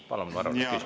Palun!